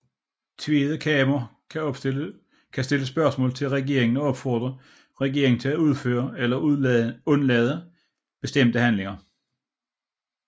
Tweede Kamer kan stille spørgsmål til regeringen og opfordre regeringen at udføre eller undlade bestemte handlinger